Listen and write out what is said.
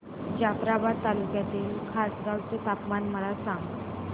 जाफ्राबाद तालुक्यातील खासगांव चे तापमान मला सांग